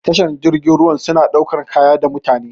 Tashar jirgin ruwa su na sauƙar da kaya da mutane.